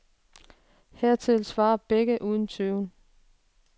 Hertil svarer begge uden tøven.